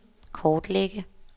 kortlægge